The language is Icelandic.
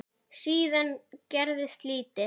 Síðan gerist lítið.